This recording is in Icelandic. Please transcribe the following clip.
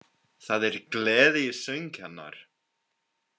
Það er gleði í söng hennar: